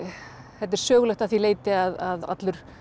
þetta er sögulegt að því leyti að allur